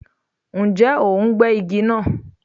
Ǹjẹ́ o ń gé igi náà?